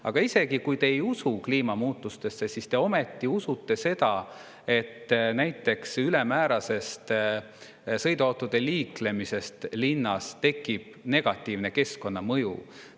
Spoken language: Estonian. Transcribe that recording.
Aga isegi kui te ei usu kliimamuutustesse, siis te ju ometi usute seda, et ülemäärasest sõiduautode liiklemisest linnas tekib negatiivne keskkonnamõju.